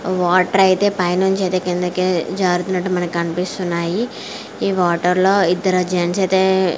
Water అయితే పైనుంచి అయితే కిందికి జారుతున్నట్టు మనకు కనిపిస్తున్నాయి. ఈ వాటర్ లో ఇద్దరు జన్స్ అయితే--